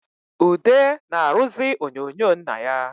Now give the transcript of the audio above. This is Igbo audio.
Ude na-arụzị onyonyo nna ya